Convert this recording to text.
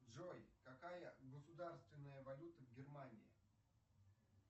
джой какая государственная валюта в германии